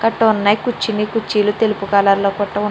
కూర్చునే కుర్చీలు తెలుపు రంగులో కట్టి ఉన్నాయ్.